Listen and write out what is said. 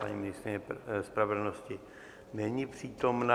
Paní ministryně spravedlnosti není přítomna.